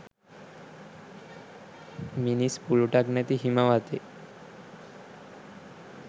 මිනිස් පුළුටක් නැති හිම වතේ